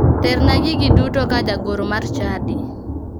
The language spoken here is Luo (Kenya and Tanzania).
Terna gigi duto ka jagoro mar chadi.